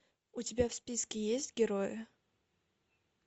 у тебя в списке есть герои